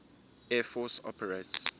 air force operates